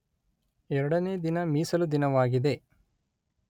ಎರಡನೇ ದಿನ ಮೀಸಲು ದಿನವಾಗಿದೆ